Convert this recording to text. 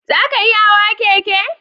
Za ka iya hawa keke?